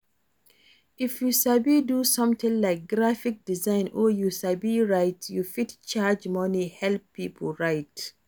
If you sabi do something like graphic design or you sabi write, you fit charge money help pipo write